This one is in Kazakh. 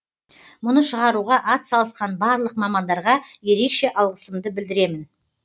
мұны шығаруға атсалысқан барлық мамандарға ерекше алғысымды білдіремін